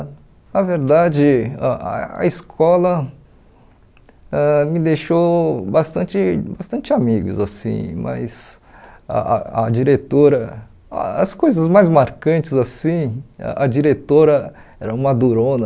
Na verdade, a a escola ãh me deixou bastante bastante amigos assim, mas a a a diretora, as coisas mais marcantes assim, a diretora era uma durona.